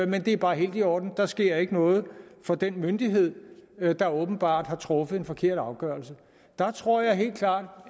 men det er bare helt i orden der sker ikke noget for den myndighed der åbenbart har truffet en forkert afgørelse jeg tror helt klart